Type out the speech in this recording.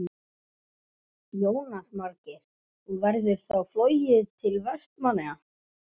Jónas Margeir: Og verður þá flogið til Vestmannaeyja?